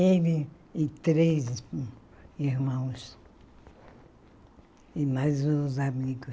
Ele e três irmãos e mais uns amigos.